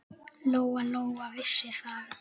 Lóa-Lóa vissi það.